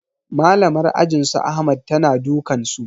Malamar ajin su ahmad ta na dukan su